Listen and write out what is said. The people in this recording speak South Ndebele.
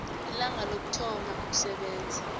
ilanga lokuthoma ukusebenza